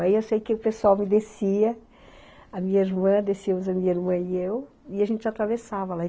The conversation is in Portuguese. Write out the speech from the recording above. Aí eu sei que o pessoal me descia, a minha irmã, descíamos a minha irmã e eu, e a gente atravessava lá.